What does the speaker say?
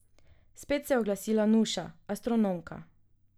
Spet se je oglasila Nuša, astronomka.